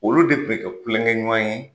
Olu de kun mi kɛ kulonkɛɲuwan ye.